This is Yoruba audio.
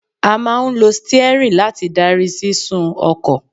A máà ń lo steering láti darí sísún ọkọ̀.